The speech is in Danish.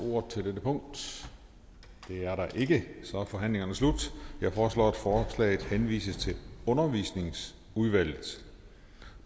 ordet til dette punkt det er der ikke så forhandlingen er slut jeg foreslår at forslaget henvises til undervisningsudvalget